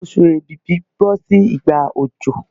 Oṣù èbìbí bọ́ sí ìgbà òjò